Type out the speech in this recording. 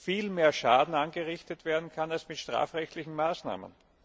viel mehr Schaden angerichtet werden kann als mit strafrechtlichen Maßnahmen.